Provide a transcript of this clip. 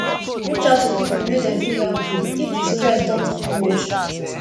reach out to pipo make dem fit help you if di stress don too much